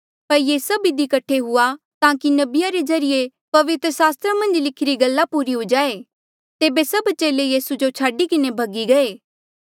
पर ये सभ इधी कठे हुआ ताकि नबीया रे ज्रीए पवित्र सास्त्रा री मन्झ लिखीरी गल्ला पूरी हुई जाए तेबे सभ चेले यीसू जो छाडी किन्हें भगी गये